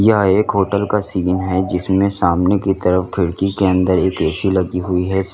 यह एक होटल का सीन है जिसमे सामने की तरफ खिड़की के अंदर एक ए_सी लगी हुई है।